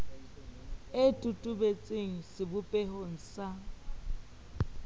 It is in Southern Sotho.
e totobe tseng sebopehong sa